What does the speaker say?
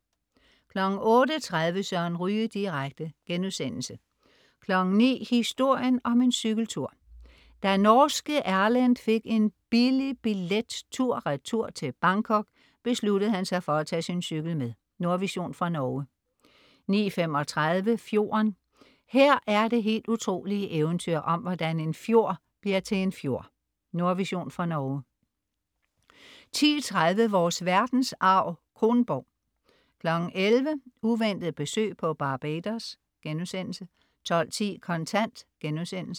08.30 Søren Ryge direkte* 09.00 Historien om en cykeltur. Da norske Erlend fik en billig billet tur-retur til Bangkok, besluttede han sig for at tage sin cykel med. Nordvision fra Norge 09.35 Fjorden. Her er det helt utrolige eventyr om, hvordan en fjord bliver til en fjord. Nordvision fra Norge 10.30 Vores verdensarv: Kronborg 11.00 Uventet besøg på Barbados* 12.10 Kontant*